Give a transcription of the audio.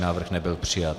Návrh nebyl přijat.